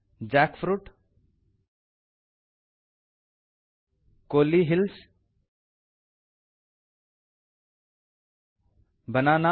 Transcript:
jackfruit ಕೊಳ್ಳಿ hills ಬಾಣನ